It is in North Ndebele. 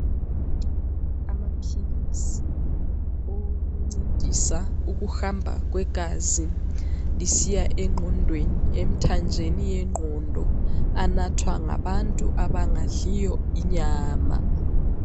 Amaphilisi owokuncedisa ukuhamba kwegazi, lisiya engqondweni ,emthanjeni yengqondo. Anathwa ngabantu abangadliyo inyama.